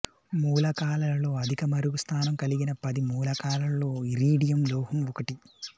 మూలకాలలో అధిక మరుగు స్థానం కలిగిన పది మూలకాలలో ఇరీడియం లోహం ఒకటి